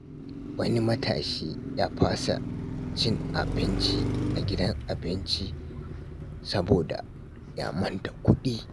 Wani matashi ya fasa cin abinci a gidan abinci saboda ya manta kuɗi.